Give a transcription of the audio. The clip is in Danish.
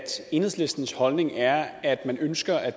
enhedslistens holdning er at man ønsker at